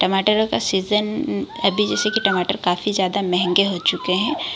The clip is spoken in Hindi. टमाटरो का सीजन अभी जैसे कि टमाटर काफी ज्यादा महेंगे हो चुके है।